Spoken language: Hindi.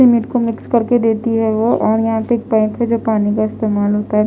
मेरे को मिक्स करते देती है वो और यहाँ पर एक बैंक जो पानी का इस्तेमाल होता हैं--